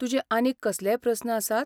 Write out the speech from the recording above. तुजे आनीक कसलेय प्रस्न आसात?